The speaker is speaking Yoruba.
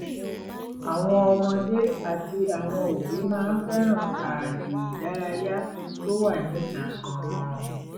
àwọn ọmọdé àti àwọn òbí máa ń fẹ́ràn ààyè ìdárayá tó wà níta gan-an